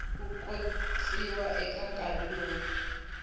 ku khotsiwa eka nkarhi lowu